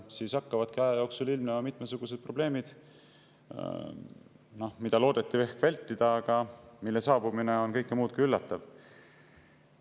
Siis hakkavadki aja jooksul ilmnema mitmesugused probleemid, mida loodeti ehk vältida, aga mille saabumine on kõike muud kui üllatav.